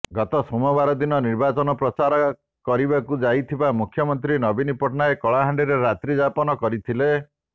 ଗତ ସୋମବାର ଦିନ ନିର୍ବାଚନ ପ୍ରଚାର କରିବାକୁ ଯାଇଥିବା ମୁଖ୍ୟମନ୍ତ୍ରୀ ନବୀନ ପଟ୍ଟନାୟକ କଳାହାଣ୍ଡିରେ ରାତ୍ରି ଯାପନ କରିଥିଲେ